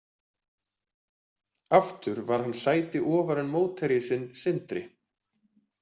Aftur var hann sæti ofar en mótherji sinn, Sindri.